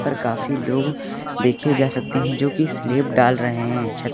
पर काफी लोग देखे जा सकते हैं जो की स्लैप डाल रहे हैं छत--